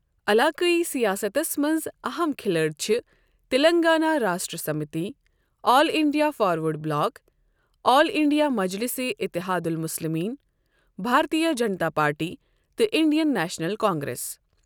علاقٲیی سِیاسَتس منٛز اَہم کِھلٲڑۍ چھِ Telangana Rashtra Samithi, All India Forward Bloc, All India مجلِسہِ اِتحاد المُسلِمیٖن، بھارتِیہ جنتا پارٹی تہٕ اِنٛڈیَن نیشنَل کانگریٚس۔